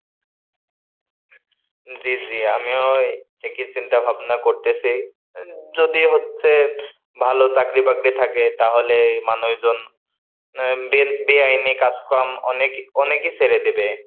জি জি, আমিও একই চিন্তা ভাবনা করতেছি, যদি হচ্ছে ভালো চাকরি বাকরি থাকে তাহলে মানুষজন বে বেআইনি কাজ কম অনেক অনেকেই ছেড়ে দেবে।